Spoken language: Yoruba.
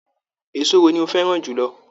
Èso wo ni o fẹràn jùlọ?